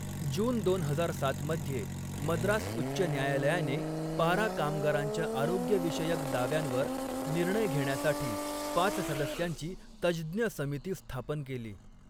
जून दोन हजार सातमध्ये, मद्रास उच्च न्यायालयाने पारा कामगारांच्या आरोग्यविषयक दाव्यांवर निर्णय घेण्यासाठी पाच सदस्यांची तज्ज्ञ समिती स्थापन केली.